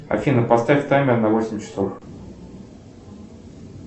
афина поставь таймер на восемь часов